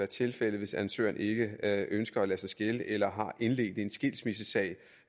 tilfældet hvis ansøgeren ikke ønsker at lade sig skille eller har indledt en skilsmissesag